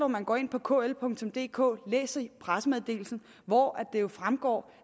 man går ind på kldk og læser pressemeddelelsen hvor det jo fremgår